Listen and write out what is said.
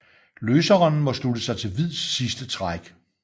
Løseren må slutte sig til hvids sidste træk